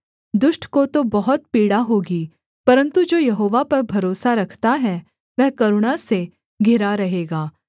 दुष्ट को तो बहुत पीड़ा होगी परन्तु जो यहोवा पर भरोसा रखता है वह करुणा से घिरा रहेगा